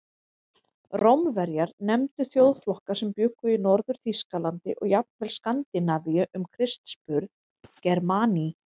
Rómverjar nefndu þjóðflokka sem bjuggu í Norður-Þýskalandi og jafnvel Skandinavíu um Krists burð Germani.